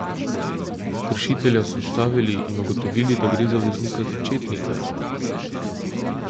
Kršitelja so ustavili in ugotovili, da gre za voznika začetnika.